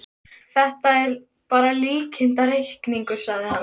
Þetta er bara líkindareikningur, sagði hann.